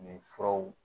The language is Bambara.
Nin furaw